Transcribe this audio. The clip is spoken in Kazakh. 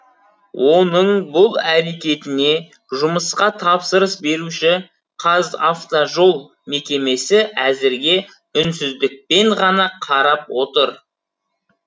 оның бұл әрекетіне жұмысқа тапсырыс беруші қазавтожол мекемесі әзірге үнсіздікпен ғана қарап отыр